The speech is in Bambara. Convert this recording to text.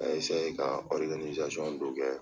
N y'a ka dɔ kɛ